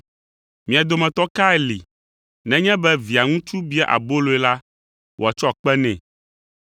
“Mia dometɔ kae li nenye be Via ŋutsu bia aboloe la, wòatsɔ kpe nɛ?